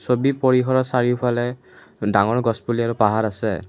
ছবি পৰিসৰৰ চাৰিওফালে ডাঙৰ গছ পুলি আৰু পাহাৰ আছে।